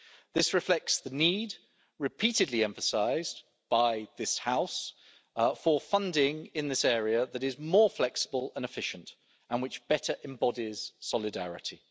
This reflects the need, repeatedly emphasised by this House, for funding in this area that is more flexible and efficient and which better embodies solidarity.